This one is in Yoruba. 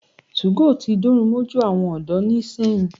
2go tí dórun mójú àwọn ọ̀dọ́ ni sẹ́yìn.